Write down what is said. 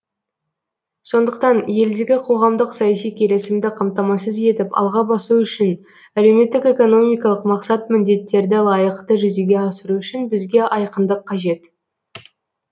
сондықтан елдегі қоғамдық саяси келісімді қамтамасыз етіп алға басу үшін әлеуметтік экономикалық мақсат міндеттерді лайықты жүзеге асыру үшін бізге айқындық қажет